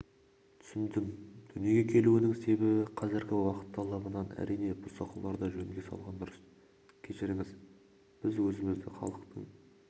түсіндім дүниеге келуінің себебі қазіргі уақыт талабынан әрине бұзақыларды жөнге салған дұрыс кешіріңіз біз өзімізді халықтың